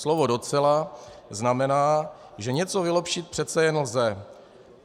Slovo docela znamená, že něco vylepšit přece jen lze.